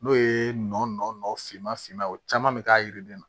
N'o ye nɔn finma finman ye o caman bɛ k'a yiriden na